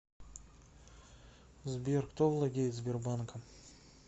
сбер кто владеет сбербанком